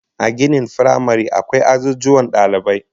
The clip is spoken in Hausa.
A ginin firamare akwai azuzuwan dalibai